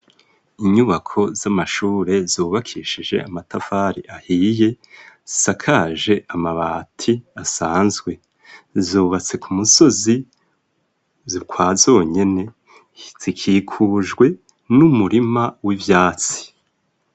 Inyubako z'amashure zubakishije amatafari ahiye, asakaje amabati asanzwe, zubatse ku musozi ukwa zonyene, zikikujwe n'umurima w'ivyatsi.